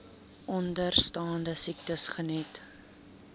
onderstaande siektes geniet